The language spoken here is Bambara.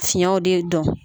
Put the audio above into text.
Fiɲɛw de dɔn